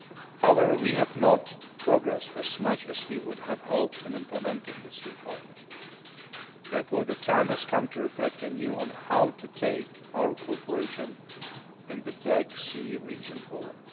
However, we have not progressed as much as we would have hoped in implementing the three partnerships. The time has thus come to reflect anew on how to take our cooperation in the Black Sea region forward.